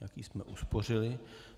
Taky jsme uspořili.